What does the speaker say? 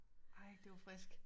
Ej det var friskt